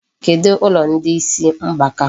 Kedụ ụlọ ndị isi mgbaka?